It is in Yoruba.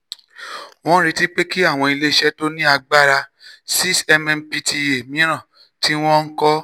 wọ́n retí pé kí àwọn ilé iṣẹ́ tó ní agbára 6mmpta mìíràn tí wọ́n ń kọ́